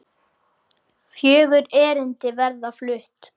Fjögur erindi verða flutt.